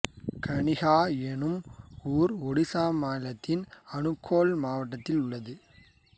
கணிஹா என்னும் ஊர் ஒடிசா மாநிலத்தின் அனுகோள் மாவட்டத்தில் உள்ளது